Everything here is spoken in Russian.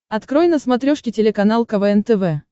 открой на смотрешке телеканал квн тв